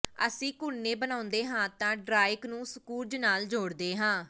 ਅਸੀਂ ਘੁਰਨੇ ਬਣਾਉਂਦੇ ਹਾਂ ਅਤੇ ਡ੍ਰਾਇਕ ਨੂੰ ਸਕਰੂਜ਼ ਨਾਲ ਜੋੜਦੇ ਹਾਂ